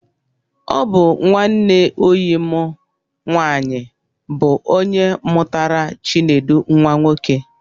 Ọ nwanne oyi mụ nwaanyị bụ ónyé mụtara Chinedu nwa nwoke